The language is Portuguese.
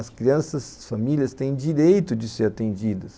As crianças, as famílias, têm direito de ser atendidas.